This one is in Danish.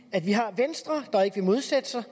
at vi har venstre der ikke vil modsætte sig